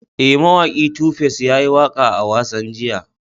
E, mawaki Tu Face ya yi waƙa a wasan jiya.